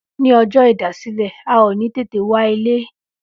Ní ọjọ́ ìdásílẹ̀, a ò ní tètè wá ilé